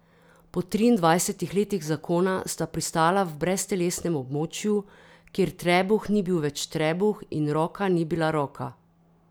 Po triindvajsetih letih zakona sta pristala v breztelesnem območju, kjer trebuh ni bil več trebuh in roka ni bila roka.